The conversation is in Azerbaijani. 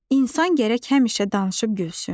İnsan gərək həmişə danışıb gülsün.